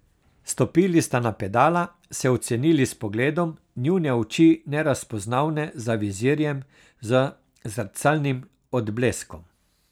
Stopili sta na pedala, se ocenili s pogledom, njune oči nerazpoznavne za vizirjem z zrcalnim odbleskom.